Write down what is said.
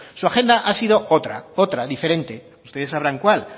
su agenda ha sido otra diferente ustedes sabrán cuál